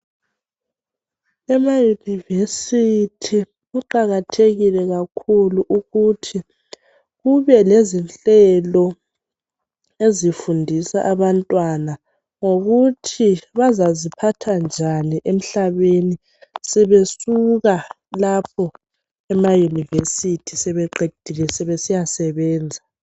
EmaYunivesithi kuqakathekile kakhulu ukuthi kube lezinhlelo ezifundisa abantwana ngokuthi bazaziphatha njani emhlabeni sebesuka lapho emaYunivesithi sebeqedile sebesiya sebenza.